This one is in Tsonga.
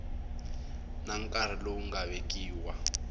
na nkarhi lowu nga vekiwa